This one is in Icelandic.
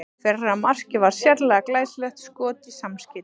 Fyrra markið var sérlega glæsilegt skot í samskeytin.